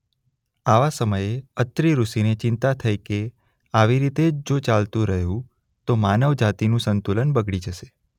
આવા સમયે અત્રિ ઋષિને ચિંતા થઈ કે આવી રીતે જ જો ચાલતુ રહ્યું તો માનવ જાતિનું સંતુલન બગડી જશે.